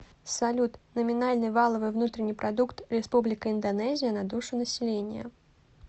салют номинальный валовой внутренний продукт республика индонезия на душу населения